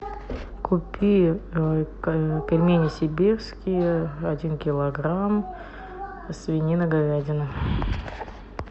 купи пельмени сибирские один килограмм свинина говядина